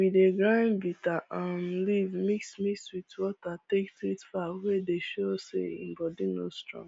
we dey grind bitter um leaf mix mix wit water take treat fowl wey dey sho say in body no strong